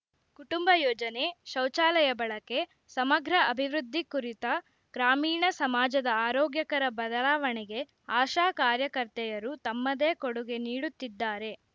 ಕುಟುಂಬ ಯೋಜನೆ ಶೌಚಾಲಯ ಬಳಕೆ ಸಮಗ್ರ ಅಭಿವೃದ್ಧಿ ಕುರಿತ ಗ್ರಾಮೀಣ ಸಮಾಜದ ಆರೋಗ್ಯಕರ ಬದಲಾವಣೆಗೆ ಆಶಾ ಕಾರ್ಯಕರ್ತೆಯರು ತಮ್ಮದೇ ಕೊಡುಗೆ ನೀಡುತ್ತಿದ್ದಾರೆ